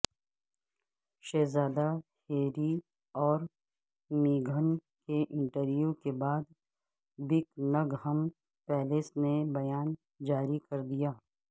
شہزادہ ہیری اور میگھن کے انٹرویو کے بعد بکنگھم پیلس نے بیان جاری کر دیا